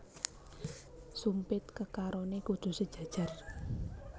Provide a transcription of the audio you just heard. Sumpit kekarone kudu sejajar